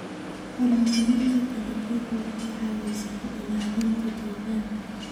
Horumarinta dalagyadu waxay caawisaa ilaalinta deegaanka.